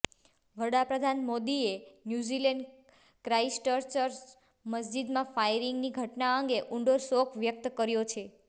વડાપ્રધાન મોદીએ New Zealand Christchurch મસ્જીદમાં ફાયરિંગની ઘટના અંગે ઉંડો શોક વ્યક્ત કર્યો છે